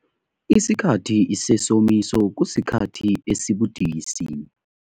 Isikhathi sesomiso kusikhathi esibudisi.